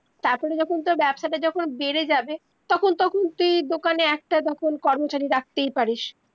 তার পরে যখন তোর ব্যবসাটা যখন বেড়ে যাবে তখন তখন তুই দোকানে একটা তখন কর্মচারী রাখতেই পারিস